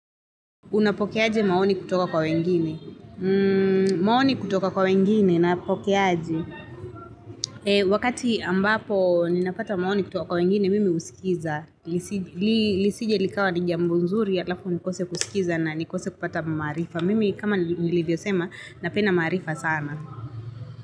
Unapokeaje maoni kutoka kwa wengine? Maoni kutoka kwa wengine, napokeaje?. Wakati ambapo ninapata maoni kutoka kwa wengine, mimi husikiza. Lisije likawa ni jambo nzuri, halafu nikose kusikiza na nikose kupata maarifa. Mimi, kama nilivyosema, napenda maarifa sana.